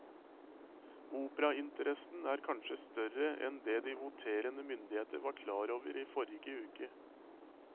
Operainteressen er kanskje større enn det de voterende myndigheter var klar over i forrige uke.